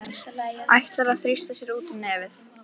Ætlar að þrýsta sér út um nefið.